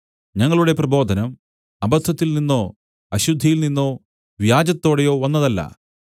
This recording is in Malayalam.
ഞങ്ങളുടെ പ്രബോധനം അബദ്ധത്തിൽനിന്നോ അശുദ്ധിയിൽനിന്നോ വ്യാജത്തോടെയോ വന്നതല്ല